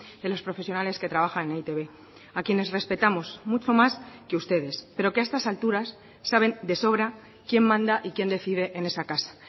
de los profesionales que trabajan en e i te be a quienes respetamos mucho más que ustedes pero que a estas alturas saben de sobra quién manda y quién decide en esa casa